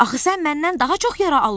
Axı sən məndən daha çox yara almısan.